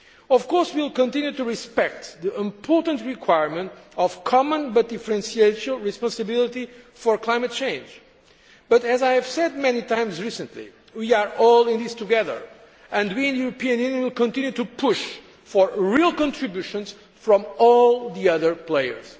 Of course, we will continue to respect the important requirement of common but differential responsibility for climate change but, as I have said many times recently, we are all in this together, and we in the European Union will continue to push for real contributions from all the other players.